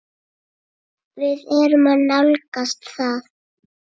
Við erum að nálgast það.